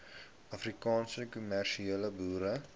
afrikaanse kommersiële boere